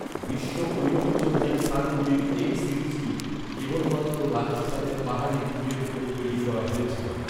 বিশ্ব ঐতিহ্যবাহী স্থানগুলির এই সিরিজটি কেবলমাত্র রাজস্থানের পাহাড়ি দুর্গের ওপর তৈরি করা হয়েছিল।